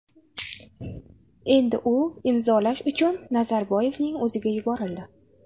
Endi u imzolash uchun Nazarboyevning o‘ziga yuborildi.